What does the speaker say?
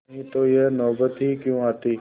नहीं तो यह नौबत ही क्यों आती